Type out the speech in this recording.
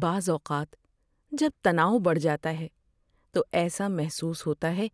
بعض اوقات، جب تناؤ بڑھ جاتا ہے تو ایسا محسوس ہوتا ہے